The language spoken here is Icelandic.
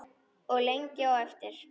Og lengi á eftir.